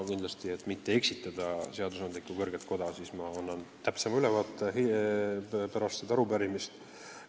Et seadusandlikku kõrget koda mitte eksitada, annan sellest täpsema ülevaate pärast arupärimise lõppu.